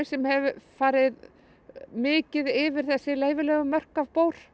sem hefur farið mikið yfir þessi leyfilegu mörk af